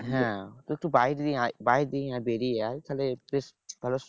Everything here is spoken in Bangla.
হ্যাঁ তুই একটু বাইরে আয় বাইরের দিকে আয় বেরিয়ে আয় তাহলে বেশ ভালো